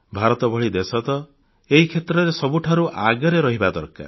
ଭାରତ ଭଳି ଦେଶ ତ ଏହି କ୍ଷେତ୍ରରେ ସବୁଠାରୁ ଆଗରେ ରହିବା ଦରକାର